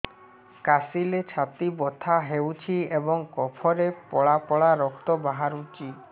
କାଶିଲେ ଛାତି ବଥା ହେଉଛି ଏବଂ କଫରେ ପଳା ପଳା ରକ୍ତ ବାହାରୁଚି